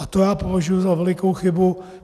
A to já považuji za velikou chybu.